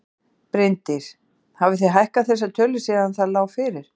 Bryndís: Hafið þið hækkað þessar tölur síðan það lá fyrir?